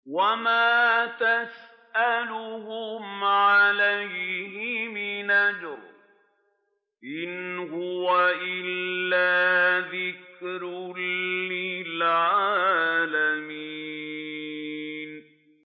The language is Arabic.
وَمَا تَسْأَلُهُمْ عَلَيْهِ مِنْ أَجْرٍ ۚ إِنْ هُوَ إِلَّا ذِكْرٌ لِّلْعَالَمِينَ